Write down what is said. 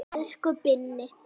Elsku Binni.